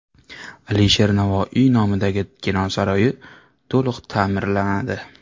Alisher Navoiy nomidagi kino saroyi to‘liq ta’mirlanadi.